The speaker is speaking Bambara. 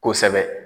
Kosɛbɛ